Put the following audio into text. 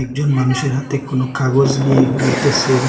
একজন মানুষের হাতে কোনো কাগজ নিয়ে ঘুরতেসেন।